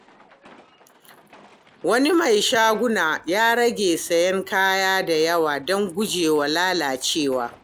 Wani mai shaguna ya rage siyan kaya da yawa don guje wa lalacewa.